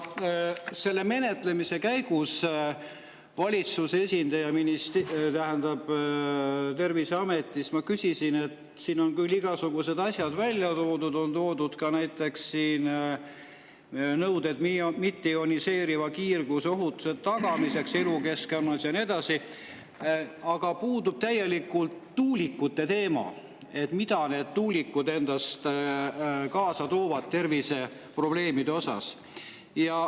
Selle menetluse käigus ma küsisin valitsuse esindajalt Terviseametis, et siin on küll igasugused asjad välja toodud, on toodud ka näiteks nõuded mitteioniseeriva kiirguse ohutuse tagamiseks elukeskkonnas ja nii edasi, aga puudub täielikult tuulikute teema, mida tuulikud endaga kaasa toovad terviseprobleemidena.